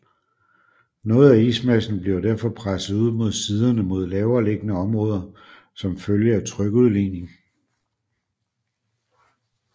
Noget af ismassen bliver derfor presset ud mod siderne mod lavere liggende områder som følge af trykudligning